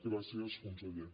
gràcies conseller